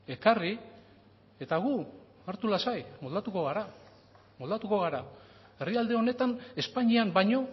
ekarri eta gu hartu lasai moldatuko gara moldatuko gara herrialde honetan espainian baino